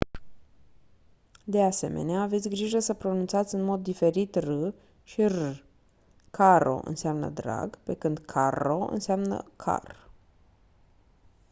de asemenea aveți grijă să pronunțați în mod diferit r și rr caro înseamnă drag pe când carro înseamnă car